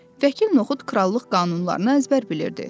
Vəkil Noxud krallıq qanunlarını əzbər bilirdi.